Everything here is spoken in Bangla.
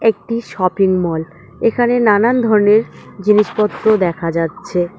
একটি শপিং মল এখানে নানান ধরনের জিনিসপত্র দেখা যাচ্ছে।